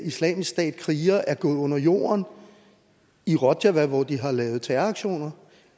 islamisk stats krigere er gået under jorden i rojava hvor de har lavet terroraktioner